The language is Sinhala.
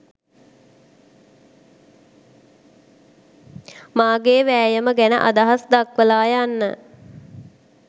මගේ වෑයම ගැන අදහස් දක්වලා යන්න